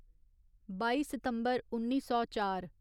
बाई सितम्बर उन्नी सौ चार